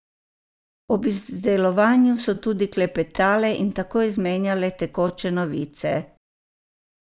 Ob izdelovanju so tudi klepetale in tako izmenjale tekoče novice.